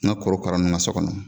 N ka korokara ninnu ka so kɔnɔ